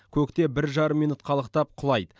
көкте бір жарым минут қалықтап құлайды